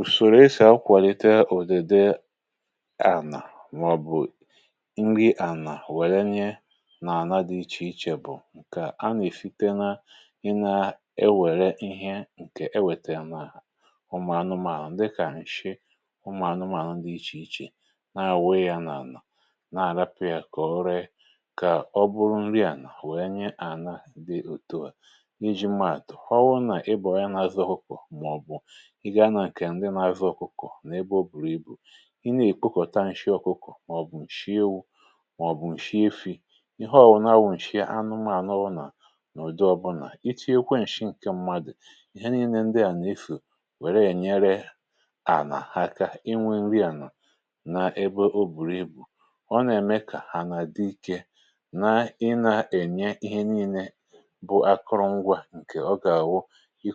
ùsòrò esì akwàlite ùdede ànà màọbụ nri ànà wèlinye nà ànà dị iche iche bụ̀ ǹkè a nèfite na ị na-ewère ihe ǹkè ewèta ya n’àlà ụmụ̀anụmànụ̀, dịkà ǹshị ụmụ̀anụmànụ dị iche iche, nà ànàwụ ya nà ànà, na àrapụ̇ ya kà ọ ree um kà ọ bụrụ nri ànà wèlinye ànà dị òtuà. N’iji maàtụ̀ fọwụ, nà ị bọ̀ọ ya, na-azụ hụfụ̀ ihe a gà-àkwụ ihe ndị n’afịa ọkụkọ̀ n’ebe ọ bùrù ibù ị nà-èkpukọ̀ta ǹshị ọkụkọ̀ màọ̀bụ̀ ǹshịewụ, màọ̀bụ̀ ǹshịefì, ihe ọ̀wụna wụ̀ ǹshịanụmȧnụ nà n’ùdọ ọbụlà, iti̇ ekwe ǹshị ǹkè mmadụ̀. Ihe nii̇nė ndị à nà-efù wère ènyere ànà ha aka inwė iwe nri à nọ̀ n’ebe ọ bùrù ibù ọ nà-ème kà hà nà dị ike, na i nà-ènye ihe nii̇nė bụ akụrụngwȧ ǹkè ọ gà-àwụ, ǹ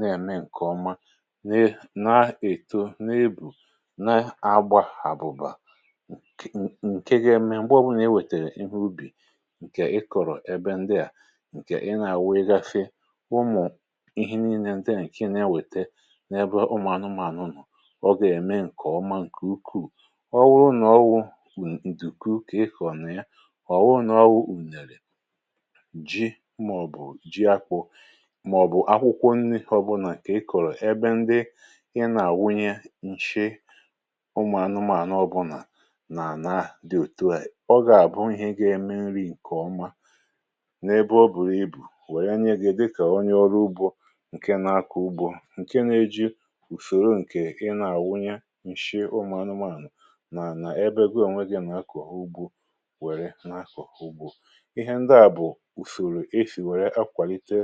na-ème ǹkè ọma, nà na-èto, na-ebù, na-agbȧ àbụ̀bà, ǹke ga-ème ǹgbè ebe à, bụrụ nà e wètèrè ihe ubì ǹkè ị kọ̀rọ̀. Ebe ndị à ǹkè ị na-àwụ, ị gȧfị ụmụ̀ ihe nii̇nė ndị à, ǹkè na-ewète n’ebe ụmụ̀ anụmụ̀ anụ nụ̀, ọ gà-ème ǹkè ọma ǹkè ukwuù. Ọ wụrụ n’ọwụ, ǹtù kuù, kà ị kọ̀nà yà ọ̀wụ n’ọwụ ụ̀nèrè ji, màọbụ̀ ji akwụ, okwȯnii ọbụnà kà ikòrò ebe ndị ị nà àwụnye ǹshị umù anụmȧnụ ọbụnà nà ànà dị òtu à, ọ gà-àbụ ihe gȧ eme nri ǹkè ọma. N’ebe ọ bùrù ibù wèe nye gị, dịkà onye ọrụ ugbȯ ǹkè nà-akọ ugbȯ, ǹkè nà-èji ùsòrò ǹkè ị nà àwụnye ǹshịe umù anụmȧnụ nà nà ebe,[um] goo ònwe gị mà akọ̀họ ugbȯ, wère nà akọ̀họ ugbȯ. Ihe ndị à bụ̀ ùsòrò e shì wèe akwàlite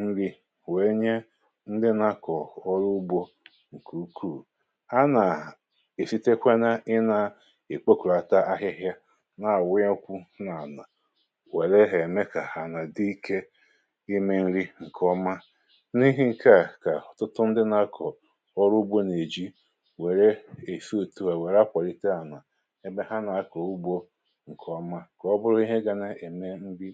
nri̇ wèe nye ndị nȧ-ȧkọ̀ ọrụ ugbȯ ǹkè ukwuù um. A nà-èfetekwa n’ị nà-ìkpokòròta ahịhịa, nà-àwụyẹ ọkwụ, nà-ànà wèlẹ hȧ, ẹ̀mẹ kà ha nà dị ike imē nri ǹkè ọma. N’ihi ǹke à, kà ọ̀tụtụ ndị nȧ-ȧkọ̀ ọrụ ugbȯ nà-èji wère èsa otu wèe wère akwàlite ànà ebe ha nà-àkọ ugbȯ ǹkè ọma, enyi.